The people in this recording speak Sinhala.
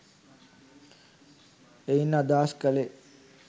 එයින් අදහස් කළේ